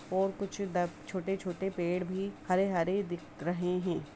और कुछ दब छोटे-छोटे पेड़ भी हरे-हरे दिख रहे हैं।